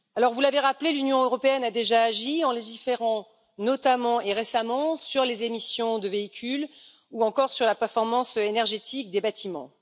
Vous l'avez rappelé, l'Union européenne a déjà agi en légiférant, notamment et récemment, sur les émissions de véhicules ou encore sur la performance énergétique des bâtiments.